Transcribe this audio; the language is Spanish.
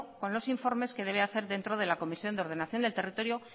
con los informes que debe de hacer dentro de la comisión de ordenación del territorio